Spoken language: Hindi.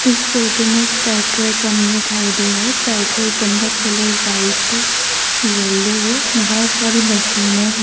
इस फोटो में पेट्रोल पंप दिखाई दे रहा है पेट्रोल पंप का कलर व्हाइट है येलो व बहुत सारी मशीनें हैं।